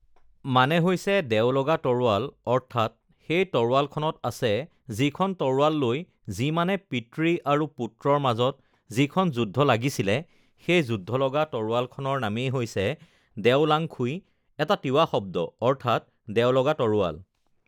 মানে হৈছে দেও লগা তৰোৱাল অৰ্থাৎ সেই তৰোৱালখন আছে যিখন তৰোৱাল লৈ যি মানে পিতৃ আৰু পুত্ৰৰ মাজত যিখন যুদ্ধ লাগিছিলে সেই যুদ্ধ লগা তৰোৱালখনৰ নামেই হৈছে দেও লাঙখুই এটা তিৱা শব্দ অৰ্থাৎ দেও লগা তৰোৱাল